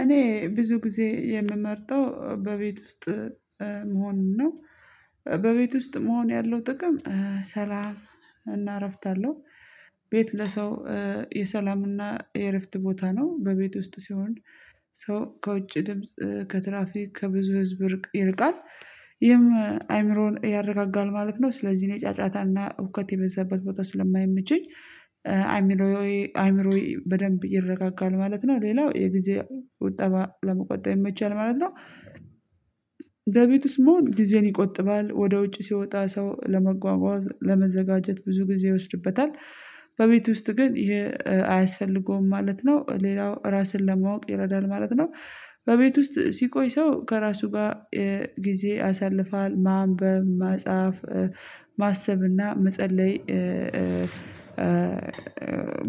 እኔ ብዙ ጊዜ የምመርጠው በቤት ውስጥ መሆኑን ነው። በቤት ውስጥ መሆን ያለው ጥቅም ሰላም እና እረፍት አለው። ቤት ለሰው የሰላምና የእረፍት ቦታ ነው በቤት ውስጥ ሲሆን ሰው ከውጭ ድምጽ ከትራፊክ ከብዙ ህዝብ ይርቃል ይህም አይምሮን ያረጋጋል ማለት ነው። ስለዚህ እኔ ጫጫታና ውከት የበዛበት ቦታ ስለማይመቸኝ አይምሮዬ አይምሮዬ በደንብ ይረጋጋል ማለት ነው። ሌላው የጊዜ ቁጠባ ለመቆጠብ ይመቻል ማለት ነው። በቤቱ ስሙን ጊዜን ይቆጥባል ወደ ውጭ ሲወጣ ሰው ለመጓጓዝ ለመዘጋጀት ብዙ ጊዜ ይወስድበታል። በቤት ውስጥ ግን ይሄ አያስፈልገውም ማለት ነው ሌላው ራስን ለማወቅ ይረዳል ማለት ነው። በቤት ውስጥ ሲቆይ ሰው ከራሱ ጋር ጊዜ አሳልፋል ማንበብ ማጻፍ ማሰብና መጸለይ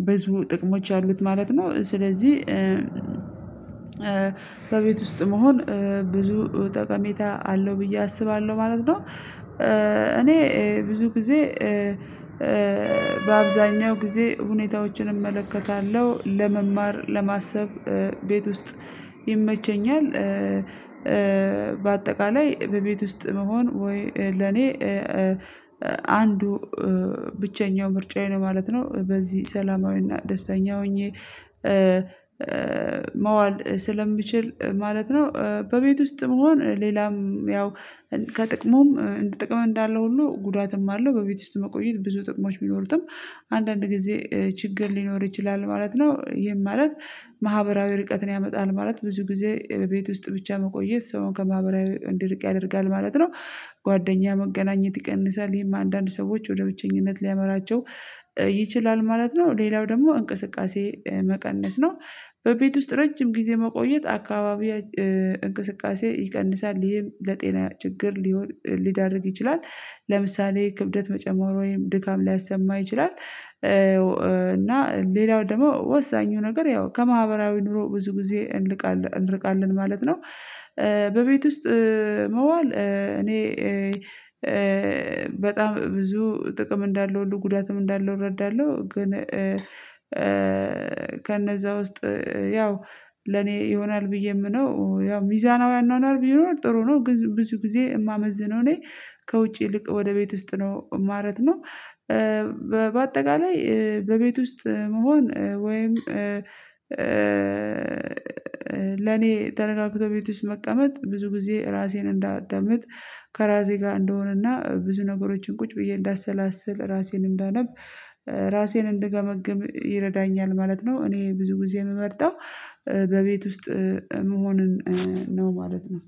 ብዙ ጥቅሞች አሉት ማለት ነው። ስለዚህ በቤት ውስጥ መሆን ብዙ ጠቀሜታ አለው ብዬ አስባለሁ ማለት ነው። እኔ ብዙ ጊዜ በአብዛኛው ጊዜ ሁኔታዎችን እመለከታለሁ ለመማር ለማሰብ ቤት ውስጥ ይመቸኛል። በአጠቃላይ በቤት ውስጥ መሆን ወይ ለኔ አንዱ ብቸኛው ምርጫዬ ነው ማለት ነው በዚህ ሰላማዊና ደስተኛ ሆኜ መዋል ስለምችል ማለት ነው። በቤት ውስጥ መሆን ሌላም ያው ከጥቅሙም ጥቅም እንዳለው ሁሉ ጉዳትም አለው በቤት ውስጥ መቆየት ብዙ ጥቅሞች ቢኖሩትም አንዳንድ ጊዜ ችግር ሊኖር ይችላል ማለት ነው። ይሄም ማለት ማህበራዊ ርቀትን ያመጣል ማለት ብዙ ጊዜ ቤት ውስጥ ብቻ መቆየት ሰውን ከማህበራዊ እንድርቅ ያደርጋል ማለት ነው። ጓደኛ መገናኘት ይቀንሳል ይሄም አንዳንድ ሰዎች ወደ ብቸኝነት ሊያመራቸው ይችላል ማለት ነው። ሌላው ደግሞ እንቅስቃሴ መቀነስ ነው። በቤት ውስጥ ረጅም ጊዜ መቆየት አካባቢ እንቅስቃሴ ይቀንሳል ይሄም ለጤና ችግር ሊዳርግ ይችላል። ለምሳሌ ክብደት መጨመር ወይም ድካም ሊያሰማ ይችላል እና ሌላው ደግሞ ወሳኙ ነገር ያው ከማህበራዊ ኑሮ ብዙ ጊዜ እንርቃለን ማለት ነው። በቤት ውስጥ መዋል እኔ በጣም ብዙ ጥቅም እንዳለው ሁሉ ጉዳትም እንዳለው እረዳለሁ። ግን ከነዛ ውስጥ ያው ለኔ ይሆናል ብዬ የምነው ያው ሚዛናው አናኗር ቢኖር ጥሩ ነው። ብዙ ጊዜ የማመዝነው እኔ ከውጪ ይልቅ ወደ ቤት ውስጥ ነው ማለት ነው። በአጠቃላይ በቤት ውስጥ መሆን ወይም ለኔ ተረጋግቶ ቤት ውስጥ መቀመጥ ብዙ ጊዜ ራሴን እንዳዳምጥ ከራሴ ጋር እንደሆነና ብዙ ነገሮችን ቁጭ ብዬ እንዳሰላስል ራሴን እንዳነብ ራሴን እንድገመግም ይረዳኛል ማለት ነው። እኔ ብዙ ጊዜ የምመርጠው በቤት ውስጥ መሆንን ነው ማለት ነው።